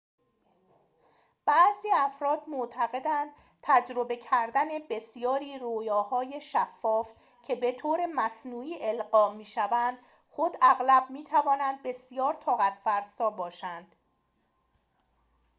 بعضی افراد معتقدند تجربه کردن بسیاری رؤیاهای شفاف که به‌طور مصنوعی القا شوند خود اغلب می‌تواند بسیار طاقت‌فرسا باشد